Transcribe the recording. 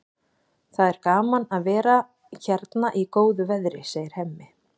Það er gaman að vera hérna í góðu veðri, segir Hemmi.